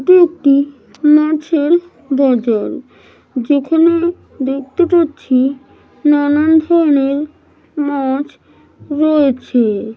এটি একটি মাছের বাজার। যেখানে দেখতে পাচ্ছি নানান ধরণের মাছ রয়েছে।